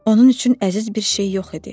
Onun üçün əziz bir şey yox idi.